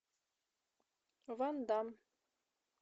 вандам